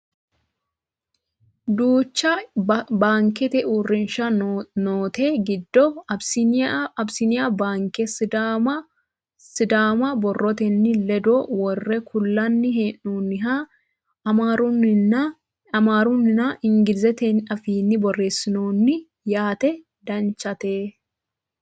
duucha baankete uurrinsha noote giddo abisiniya baanke sumuda borrotenni ledo worre kullanni hee'noonnihanna amaarunna ingilizete afiinni borreessinoonni yaate danchate .